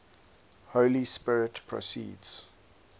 holy spirit proceeds